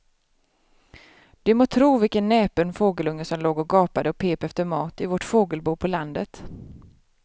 Du må tro vilken näpen fågelunge som låg och gapade och pep efter mat i vårt fågelbo på landet.